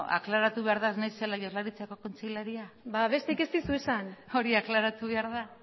aklaratu behar da ez naizela jaurlaritzako kontselaria ba besterik ez dizut esan hori aklaratu behar da